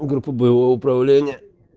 группа боевого управления